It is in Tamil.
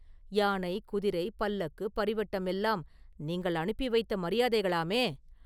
யானை, குதிரை, பல்லக்கு, பரிவட்டம் எல்லாம் நீங்கள் அனுப்பி வைத்த மரியாதைகளாமே?